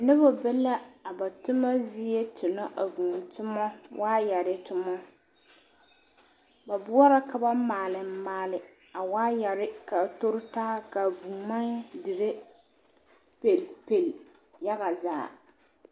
Noba be la a ba toma zie tona a vûū toma wayɛrɛɛ toma ba boɔrɔ ka ba maleŋ maale wayɛrɛɛ kaa tori taa kaa vûû maŋ dire pɛlpɛl yaga zaa